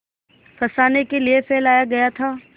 फँसाने के लिए फैलाया गया था